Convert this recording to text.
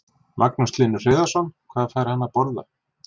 Magnús Hlynur Hreiðarsson: Hvað fær hann að borða?